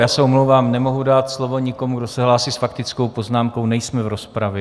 Já se omlouvám, nemohu dát slovo nikomu, kdo se hlásí s faktickou poznámkou, nejsme v rozpravě.